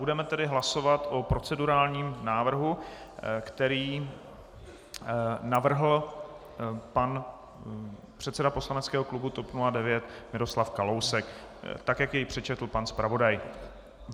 Budeme tedy hlasovat o procedurálním návrhu, který navrhl pan předseda poslaneckého klubu TOP 09 Miroslav Kalousek, tak jak jej přečetl pan zpravodaj.